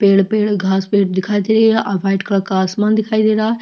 पेड़ - पेड़ घास पेड़ दिखाई दे रहा है और वाइट कलर का आसमान दिखाई दे रहा है।